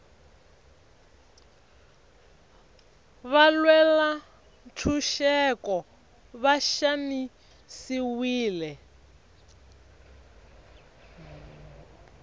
valwela ntshuxeko va xanisiwile